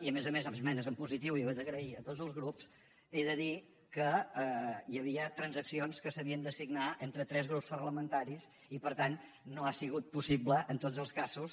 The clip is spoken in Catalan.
i a més a més esmenes en positiu i ho he d’agrair a tots els grups he de dir que hi havia transaccions que s’havien de signar entre tres grups parlamentaris i per tant no ha sigut possible en tots els casos